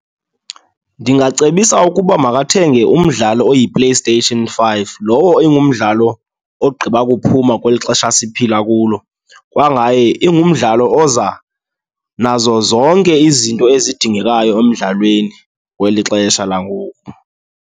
Ndingacebisa ukuba makathenge umdlalo oyiPlayStation five, lowo ingumdlalo ogqiba kuphuma kweli xesha siphila kulo. Kwangaye ingumdlalo oza nazo zonke izinto ezidingekayo emdlalweni kweli xesha langoku.